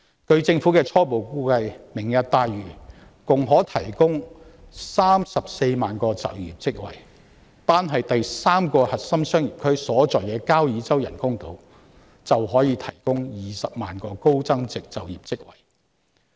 據政府的初步估計，"明日大嶼願景"共可提供34萬個職位，單是第三個核心商業區所在的交椅洲人工島便可以提供20萬個高增值職位。